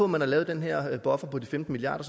man har lavet den her buffer på de femten milliard